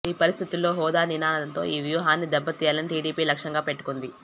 ఈ పరిస్థితుల్లో హోదా నినాదంతో ఈ వ్యూహాన్ని దెబ్బతీయాలని టీడీపీ లక్ష్యంగా పెట్టుకుంది